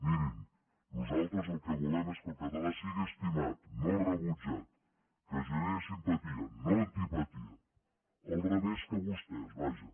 mirin nosaltres el que volem és que el català sigui estimat no rebutjat que generi simpatia no antipatia al revés que vostès vaja